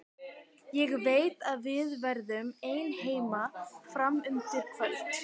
Ég veit að við verðum ein heima fram undir kvöld.